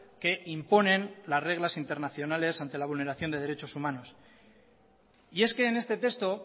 que imponen las reglas internacionales ante la vulneración de derechos humanos y es que en este texto